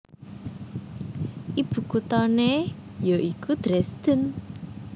Ibukutané ya iku Dresden